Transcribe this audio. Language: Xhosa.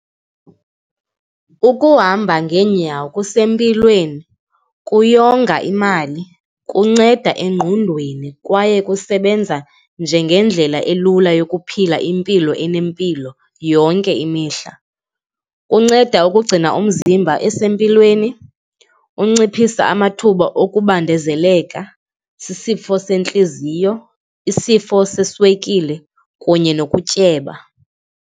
Ukuhamba ngeenyawo kusempilweni, kuyonga imali, kunceda engqondweni kwaye kusebenza njengendlela elula yokuphila impilo enempilo yonke imihla. Kunceda ukugcina umzimba esempilweni, unciphisa amathuba okubambeleka sisifo sentliziyo, isifo seswekile kunye nokutyeba.